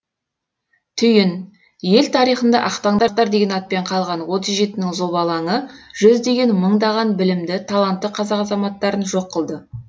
түйін ел тарихында ақтаңдақтар деген атпен қалған отыз жетінің зобалаңы жүздеген мыңдаған білімді талантты қазақ азаматтарын жоқ қылды